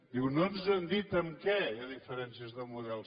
diu no ens han dit en què hi ha diferències de model